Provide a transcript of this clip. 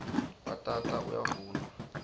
bhatata uyavunwa